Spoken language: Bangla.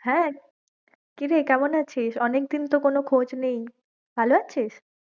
হ্যাঁ কি রে কেমন আছিস, অনেকদিন তো কোনো খোজ নেই, ভালো আছিস?